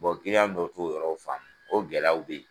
kiliyan dɔw t'o yɔrɔ in faamu o gɛlɛyaw bɛ ye.